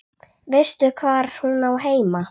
Veistu hvar hún á heima?